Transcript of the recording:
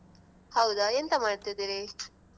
ಹೌದಾ ಎಂತ ಮಾಡ್ತಿದ್ದೀರಿ?